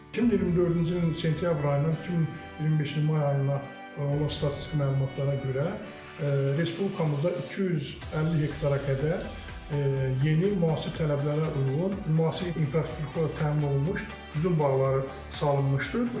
2024-cü ilin sentyabr ayının 2025-ci ilin may ayına olan statistik məlumatlara görə, Respublikamızda 250 hektara qədər yeni müasir tələblərə uyğun, müasir infrastrukturla təmin olunmuş üzüm bağları salınmışdır.